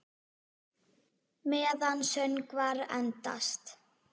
Meðan söngvar endast